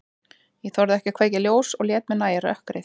Ég þorði ekki að kveikja ljós og lét mér nægja rökkrið.